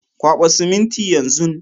Kwaba siminti yan zun.